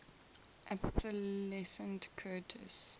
obsolescent curtiss